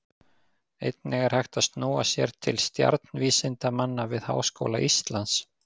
Einnig er hægt að snúa sér til stjarnvísindamanna við Háskóla Íslands.